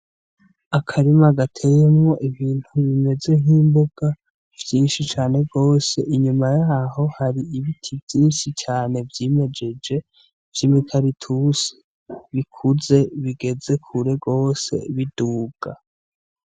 Akarima gateyemwo ibintu bimeze nk'imbuga vyinshi cane rwose inyuma yaho hari ibiti vyinshi cane vyimejeje vy'imikalitusi bikuze bigeze kure rwose biduga.